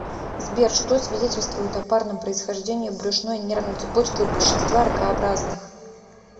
сбер что свидетельствует о парном происхождении брюшной нервной цепочки у большинства ракообразных